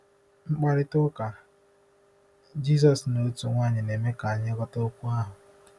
Mkparịta ụka Jizọs na otu nwanyị na-eme ka anyị ghọta okwu ahụ.